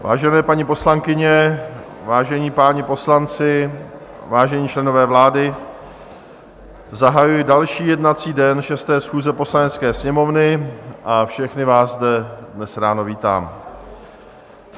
Vážené paní poslankyně, vážení páni poslanci, vážení členové vlády, zahajuji další jednací den 6. schůze Poslanecké sněmovny a všechny vás zde dnes ráno vítám.